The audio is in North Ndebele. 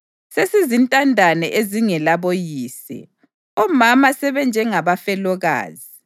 Sesizintandane ezingelaboyise, omama sebenjengabafelokazi.